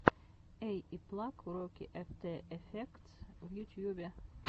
эйиплаг уроки эфтэ эфектс в ютьюбе